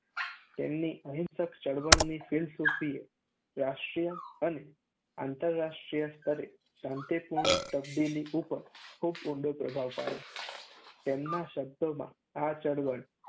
તેમની અહિંસક ચળવળની ફિલસૂફીએ રાષ્ટ્રીય અને આંતરરાષ્ટ્રીય સ્તરે શાંતિપૂર્ણ તબદીલી ઉપર ખૂબ ઊંડો પ્રભાવ પાડ્યો. તેમના શબ્દોમાં આ ચળવળ